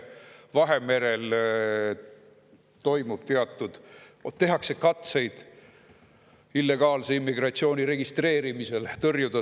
Vahemerel tehakse katseid illegaalset immigratsiooni selle registreerimisel tõrjuda.